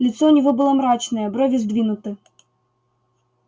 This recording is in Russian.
лицо у него было мрачное брови сдвинуты